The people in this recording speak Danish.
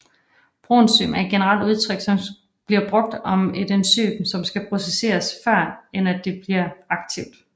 Proenzym er et generelt udtryk som bliver brugt om et enzym som skal processeres før end at det bliver aktivt